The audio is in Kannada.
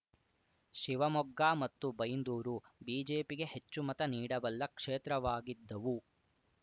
ಶಿವಮೊಗ್ಗ ಮತ್ತು ಬೈಂದೂರು ಬಿಜೆಪಿಗೆ ಹೆಚ್ಚು ಮತ ನೀಡಬಲ್ಲ ಕ್ಷೇತ್ರವಾಗಿದ್ದವು